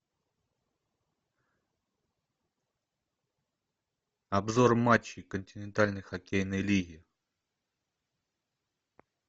обзор матчей континентальной хоккейной лиги